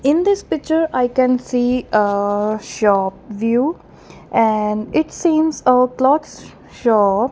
in this picture I can see ahh shop view and it seems a clothes shop.